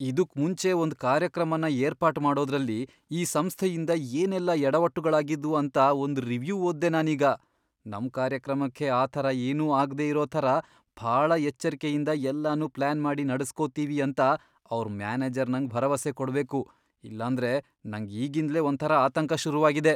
ಇದುಕ್ ಮುಂಚೆ ಒಂದ್ ಕಾರ್ಯಕ್ರಮನ ಏರ್ಪಾಟ್ ಮಾಡೋದ್ರಲ್ಲಿ ಈ ಸಂಸ್ಥೆಯಿಂದ ಏನೆಲ್ಲ ಯಡವಟ್ಟುಗಳಾಗಿದ್ವು ಅಂತ ಒಂದ್ ರಿವ್ಯೂ ಓದ್ದೆ ನಾನೀಗ. ನಮ್ ಕಾರ್ಯಕ್ರಮಕ್ಕೆ ಆಥರ ಏನೂ ಆಗ್ದೇ ಇರೋ ಥರ ಭಾಳ ಎಚ್ಚರ್ಕೆಯಿಂದ ಎಲ್ಲನೂ ಪ್ಲಾನ್ ಮಾಡಿ ನಡೆಸ್ಕೊಡ್ತೀವಿ ಅಂತ ಅವ್ರ್ ಮ್ಯಾನೇಜರ್ ನಂಗ್ ಭರವಸೆ ಕೊಡ್ಬೇಕು. ಇಲ್ಲಾಂದ್ರೆ ನಂಗ್ ಈಗಿಂದ್ಲೇ ಒಂಥರ ಆತಂಕ ಶುರುವಾಗಿದೆ.